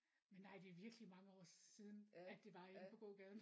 Men nej det er virkelig mange år siden at det var inde på gågaden